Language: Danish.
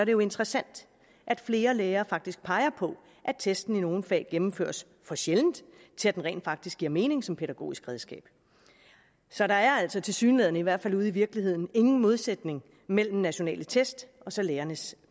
jo interessant at flere lærere faktisk peger på at testene i nogle fag gennemføres for sjældent til at den rent faktisk giver mening som pædagogisk redskab så der er altså tilsyneladende i hvert fald ude i virkeligheden ingen modsætning mellem nationale test og så lærernes